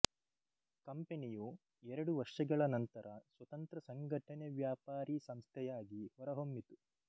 ಕಂಪನಿಯು ಎರಡು ವರ್ಷಗಳ ನಂತರ ಸ್ವತಂತ್ರ ಸಂಘಟನೆವ್ಯಾಪಾರಿ ಸಂಸ್ಥೆಯಾಗಿ ಹೊರಹೊಮ್ಮಿತು